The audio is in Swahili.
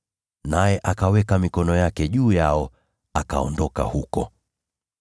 Naye akaweka mikono yake juu yao, na akaondoka huko.